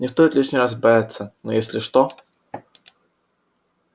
не стоит лишний раз бояться но если что